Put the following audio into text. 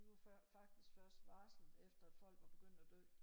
de var faktisk først varslet efter folk var begyndt og dø